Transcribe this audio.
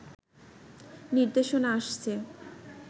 নির্দেশনা আসছে